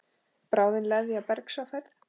Bráðin leðja bergs á ferð.